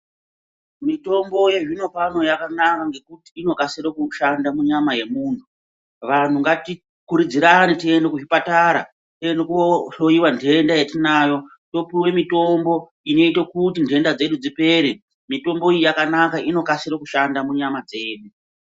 Mitombo yezvinopano yakanaka ngekuti inokasire kushanda munyama yemuntu. Vantu ngati kurudzirane tiende kuzvipatara, tiende kohloyiwa nhenda yetinenge tinayo, topiwe mitombo inoite kuti nhenda dzedu dzipere. Mitombo iyi yakanaka, inokasire kushanda munyama dzedu.